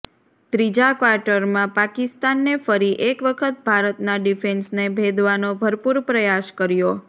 ત્રીજા ક્વાર્ટરમાં પાકિસ્તાને ફરી એક વખત ભારતના ડિફેન્સને ભેદવાનો ભરપૂર પ્રયાસ કર્યો